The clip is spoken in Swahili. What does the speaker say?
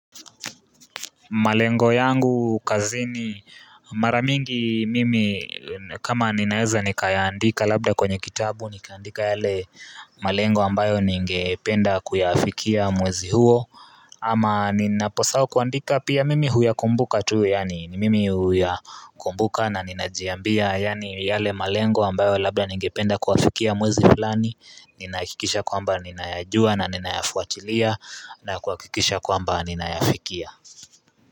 Malengo yangu kazini, mara mingi mimi kama ninaeza nikayaandika labda kwenye kitabu nikaandika yale malengo ambayo ningependa kuyafikia mwezi huo ama ninaposahau kuandika pia mimi huyakumbuka tu yaani. Ni mimi huyakumbuka na ninajiambia yaani yale malengo ambayo labda ningependa kuyafikia mwezi fullani ninahakikisha kwamba ninayajua na ninayafuatilia na kuhakikisha kwamba ninayafikia.